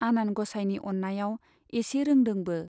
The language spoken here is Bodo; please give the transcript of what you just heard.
आनान ग'साइनि अन्नायाव एसे रोंदोंबो।